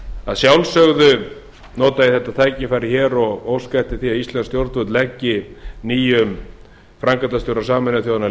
að sjálfsögðu nota ég þetta tækifæri hér og óska eftir því að íslensk stjórnvöld leggi nýjum framkvæmdastjóra sameinuðu þjóðanna lið